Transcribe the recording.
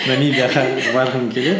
набибияға барғым келеді